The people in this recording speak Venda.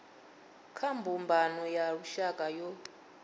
kha mbumbano ya lushaka yo